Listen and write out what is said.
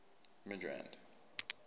midrand